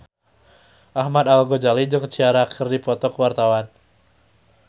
Ahmad Al-Ghazali jeung Ciara keur dipoto ku wartawan